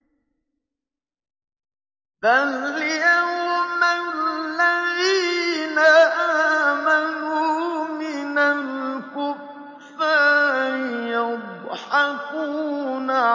فَالْيَوْمَ الَّذِينَ آمَنُوا مِنَ الْكُفَّارِ يَضْحَكُونَ